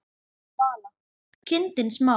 Vala: kindin smá.